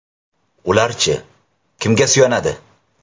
Ular-chi, kimga suyanadi?